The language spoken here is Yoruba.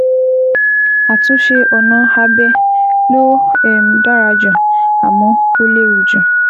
Àtúnṣe ọ̀nà abẹ ló um dára jù, àmọ́ ó léwu jù